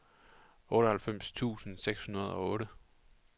otteoghalvfems tusind seks hundrede og otte